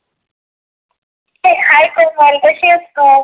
hey, hi Komal कशी आहेस तु?